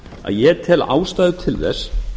að ég tel ástæðu til þess